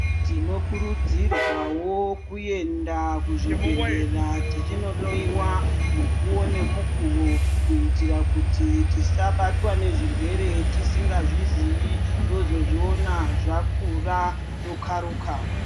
Tinokurudzirwawo kuenda kuzvibhedheya tichinohloyiwa mukuwo nemukuwo kuitira kuti tisabatwa ngezvirwere tisingazvizii tozozviona zvakura tokharuka.